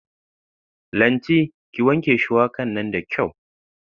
Lanti, ki wanke shuwaka nan da kyau.